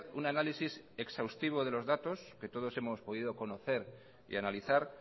un análisis exhaustivo de los datos que todos hemos podido conocer y analizar